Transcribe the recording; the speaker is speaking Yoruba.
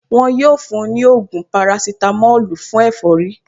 Wọn yóò fún wọn ní ògùn parasitamọ́lù fún ẹ̀fọ́rí